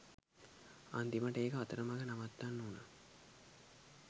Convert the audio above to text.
අන්තිමට ඒක අතරමග නවත්තන්න උනා